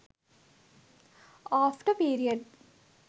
after period